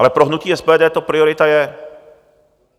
Ale pro hnutí SPD to priorita je.